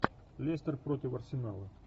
лестер против арсенала